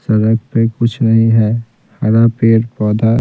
सड़क पे कुछ नहीं है हरा पेड़ पौधा--